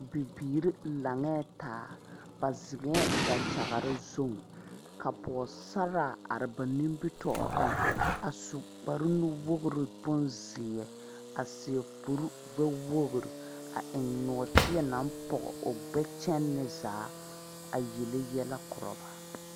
Bibiire laŋɛɛ taa ba zeŋɛɛ dakyagre zu ka pɔɔsaraa are ba nimitooreŋ a su kpare nuwogre bonzeɛ a seɛ kurigbɛwogre a eŋ nɔɔteɛ naŋ pɔge o gbɛ kyɛnne zaa a yele yɛlɛ korɔ ba.